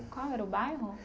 Qual era o bairro?